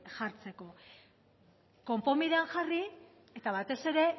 jartzeko konponbidean jarri eta batez ere